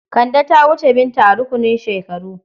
Kande ta wuce Binta a rukunin shekaru.